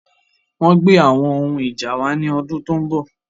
Wọn gbé àwọn ohun ìjà wa ni ọdún tó ń bọ̀